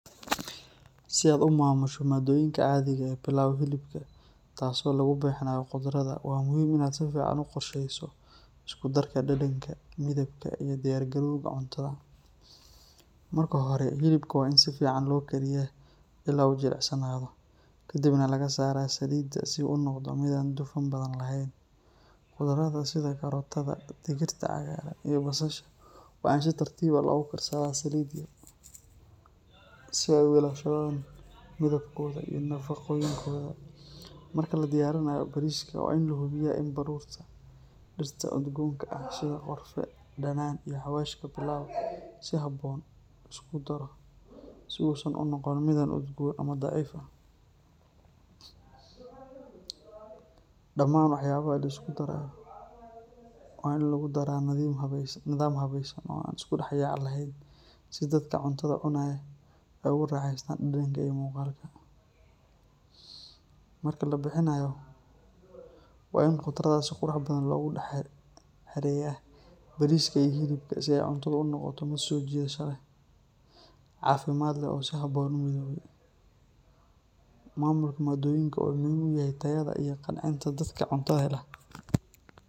Si aad u maamusho madoyinka caadiga ah ee Pilau hilibka taasoo lagu bixinayo khudradda, waa muhiim in aad si fiican u qorsheyso isku darka dhadhanka, midabka iyo u diyaargarowga cuntada. Marka hore, hilibka waa in si fiican loo kariyaa ilaa uu jilicsanaado, kadibna laga saaraa saliidda si uu u noqdo mid aan dufan badan lahayn. Khudradda sida karootada, digirta cagaaran, iyo basasha waa in si tartiib ah loogu karsadaa saliid yar si ay u ilaashadaan midabkooda iyo nafaqooyinkooda. Marka la diyaarinayo bariiska, waa in la hubiyaa in baruurta, dhirta udgoonka ah sida qorfe, dhanaan, iyo xawaashka Pilau si habboon loo isku daro si uusan u noqon mid aad u udgoon ama daciif ah. Dhamaan waxyaabaha la isku darayo waa in lagu daraa nidaam habaysan oo aan isdhexyaac lahayn si dadka cuntada cunaya ay ugu raaxaystaan dhadhanka iyo muuqaalka. Marka la bixinayo, waa in khudradda si qurux badan loogu dul xereeyaa bariiska iyo hilibka si ay cuntadu u noqoto mid soo jiidasho leh, caafimaad leh oo si habboon u midoobay. Maamulka madoyinka wuxuu muhiim u yahay tayada iyo qancinta dadka cuntada hela.